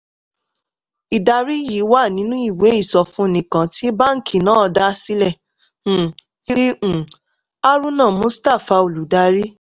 ìdarí yìí wà nínú ìwé ìsọfúnni kan tí báńkì náà dá sílẹ̀ um tí um haruna mustafa olùdarí